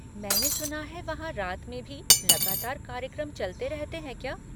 मैंने सुना है वहाँ रात में भी लगातार कार्यक्रम चलते रहते हैं क्या?